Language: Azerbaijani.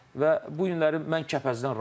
Və bu günləri mən Kəpəzdən razıyam.